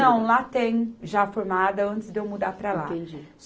Não, lá tem, já formada antes de eu mudar para lá. Entendi